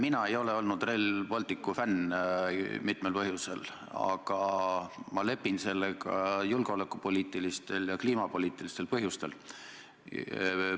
Mina ei ole olnud Rail Balticu fänn mitmel põhjusel, aga ma lepin sellega julgeolekupoliitilistel ja kliimapoliitilistel põhjustel.